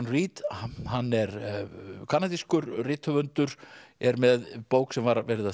Reid hann er kanadískur rithöfundur er með bók sem var verið að